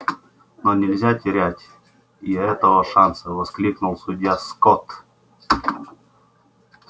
но нельзя терять и этого шанса воскликнул судья скотт